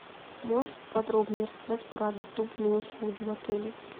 можешь подробнее рассказать про доступные услуги в отеле